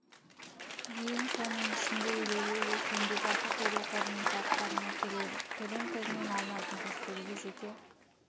дейін соның ішінде елеулі үлес еңбекақы төлеу қорының салықтарына келеді төлем көзінен алынатын кірістерге жеке